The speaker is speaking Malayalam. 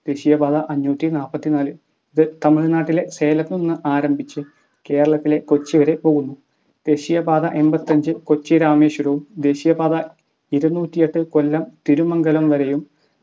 ദേശീയപാത അഞ്ഞൂറ്റി നാപതിനാൽ ഇത് തമിഴ് നാട്ടിലെ സേലത്തു നിന്നും ആരംഭിച്ച് കേരളത്തിലൂടെ കൊച്ചി വരെ പോകുന്നു. ദേശീയപാത എമ്പത്തിഅഞ്ച് കൊച്ചി രാമേശ്വരവും ദേശീയപാത ഇരുന്നൂറ്റിഎട്ട് കൊല്ലം തിരുമംഗലം വരെയും